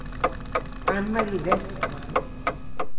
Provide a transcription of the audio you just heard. Anne-Marie Vestman